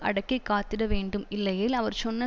அடக்கி காத்திட வேண்டும் இல்லையேல் அவர் சொன்ன